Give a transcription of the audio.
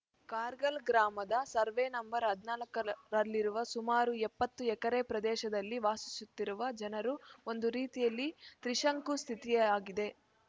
ಕಾರ್ಗಲ್‌ ಗ್ರಾಮದ survey number ಹದ್ ನಾಲ್ಕ ರಲ್ಲಿರುವ ಸುಮಾರು ಎಪ್ಪತ್ತು ಎಕರೆ ಪ್ರದೇಶದಲ್ಲಿ ವಾಸಿಸುತ್ತಿರುವ ಜನರು ಒಂದು ರೀತಿಯಲ್ಲಿ ತ್ರಿಶಂಕು ಸ್ಥಿತಿ ಆಗಿದೆ